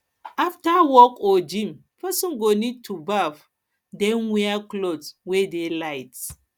after work or gym person go need to baff then wear cloth wey det light